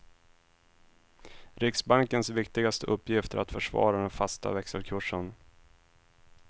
Riksbankens viktigaste uppgift är att försvara den fasta växelkursen.